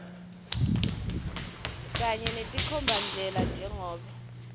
kanye netinkhombandlela njengobe